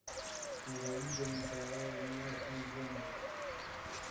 ираида николаевна ахметзянова